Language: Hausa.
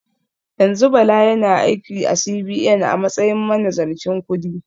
Yanzu Bala yana aiki a CBN a matsayin manazarcin kudi